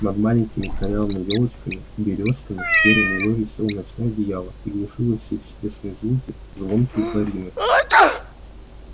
над маленькими корявыми ёлочками и берёзками серой мглой висело ночное одеяло и глушило все чудесные звуки звонкой борины